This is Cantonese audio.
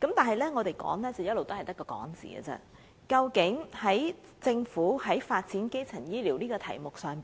但是，儘管我們一直提出，但究竟政府在發展基層醫療服務這議題上